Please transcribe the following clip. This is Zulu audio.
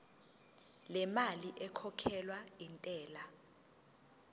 lemali ekhokhelwa intela